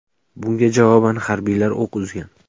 Bunga javoban harbiylar o‘q uzgan.